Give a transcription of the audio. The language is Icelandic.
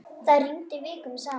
Það rigndi vikum saman.